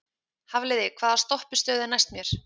Hafliði, hvaða stoppistöð er næst mér?